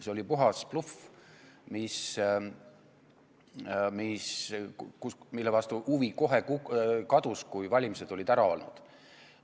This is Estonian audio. See oli puhas bluff, mille vastu huvi kohe kadus, kui valimised olid ära olnud.